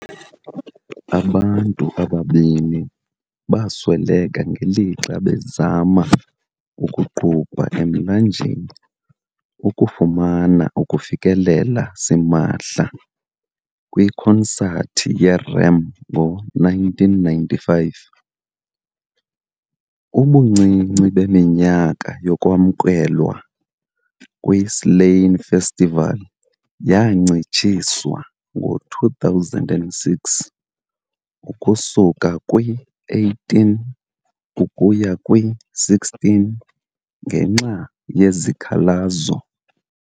Abantu ababini basweleka ngelixa bezama ukuqubha emlanjeni ukufumana ukufikelela simahla kwikonsathi ye- REM ngo-1995. Ubuncinci beminyaka yokwamkelwa kwi-Slane Festival yancitshiswa ngo-2006 ukusuka kwi-18 ukuya kwi-16 ngenxa yezikhalazo.